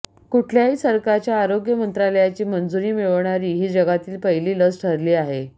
कुठल्याही सरकारच्या आरोग्य मंत्रालयाची मंजुरी मिळवणारी ही जगातील पहिली लस ठरली आहे